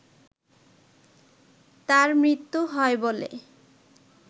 তার মৃত্যু হয় বলে